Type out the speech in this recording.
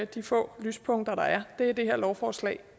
de få lyspunkter der er det er det her lovforslag